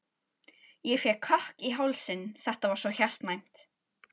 Ég fékk kökk í hálsinn, þetta var svo hjartnæmt.